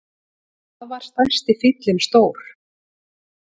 Hvað var stærsti fíllinn stór?